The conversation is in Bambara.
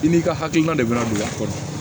I n'i ka hakilina de bɛna don i ka kɔrɔ